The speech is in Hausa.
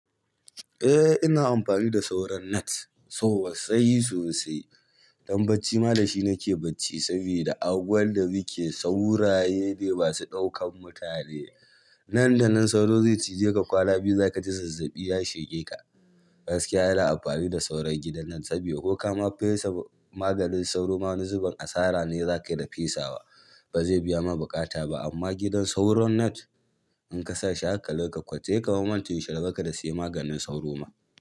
Eh ina amfani da sauran net sosai sosai. Dan bacci ma da shi nake bacci saboda angwan da muke sauraye da ma su ɗaukan mutane. Nan da nan sauro zai cije ka kwana biyu za ka ji zazzaɓi ya shige ka. Gaskiya ina amfani da sauron gidan nan sa buɗa ko kama pessa maganin sauro ma wani zubin asara ne zakayi da pessa wa ba zai biya ma buƙata ba amma gidan sauron net in ka sa shi hakalin ka ƙwace, sai ka ma mance yaushe rabon ka da sayan maganin sauro ma.